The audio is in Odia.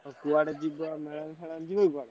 କୁଆଡେ ଯିବ ମେଳା ଫେଳା ଯିବା କି କୁଆଡେ?